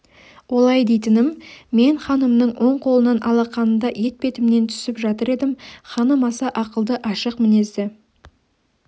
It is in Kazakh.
олай дейтінім мен ханымның оң қолының алақанында етпетімнен түсіп жатыр едім ханым аса ақылды ашық мінезді